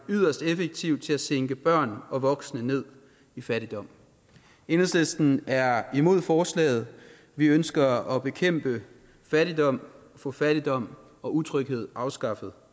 yderst effektiv til at sænke børn og voksne ned i fattigdom enhedslisten er imod forslaget vi ønsker at bekæmpe fattigdom og få fattigdom og utryghed afskaffet